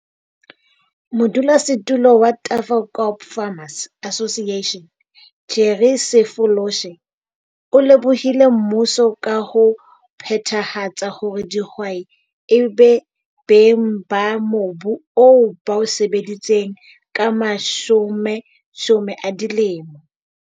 Modulosetulo wa Tafelkop Farmers Association, Jerry Sefoloshe, o lebohile mmuso ka ho phethahatsa hore dihwai e be beng ba mobu oo ba o sebeditseng ka mashomeshome a dilemo.